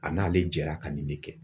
A n'ale jɛra ka nin de kɛ.